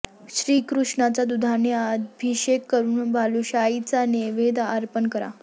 श्री कृष्णाचा दुधाने अभिषेक करून बालुशाहीचा नैवद्य अर्पण करा